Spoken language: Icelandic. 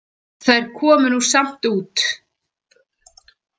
Þær komu nú samt út